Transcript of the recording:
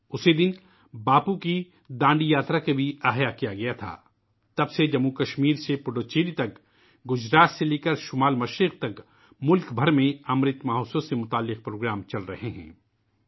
اس دن باپو کی ڈانڈی یاترا کی بھی تجدید کی گئی تھی ، تب سے جموں و کشمیر سے پڈوچیری تک ، گجرات سے شمال مشرق تک ، ''امرت مہوتسو '' سے متعلق پروگرام پورے ملک میں جاری ہے